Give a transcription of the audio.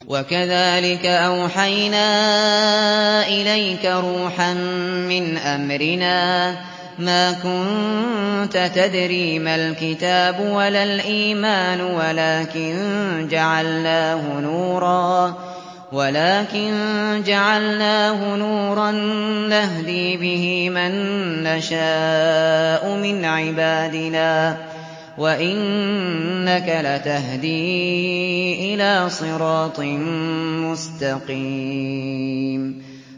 وَكَذَٰلِكَ أَوْحَيْنَا إِلَيْكَ رُوحًا مِّنْ أَمْرِنَا ۚ مَا كُنتَ تَدْرِي مَا الْكِتَابُ وَلَا الْإِيمَانُ وَلَٰكِن جَعَلْنَاهُ نُورًا نَّهْدِي بِهِ مَن نَّشَاءُ مِنْ عِبَادِنَا ۚ وَإِنَّكَ لَتَهْدِي إِلَىٰ صِرَاطٍ مُّسْتَقِيمٍ